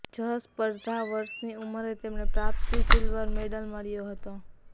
જ સ્પર્ધા વર્ષની ઉંમરે તેમણે પ્રાપ્તિ સિલ્વર મેડલ મળ્યો હતો